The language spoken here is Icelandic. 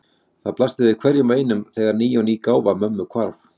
Það blasti við hverjum og einum þegar ný og ný gáfa mömmu hvarf.